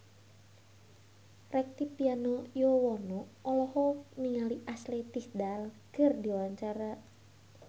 Rektivianto Yoewono olohok ningali Ashley Tisdale keur diwawancara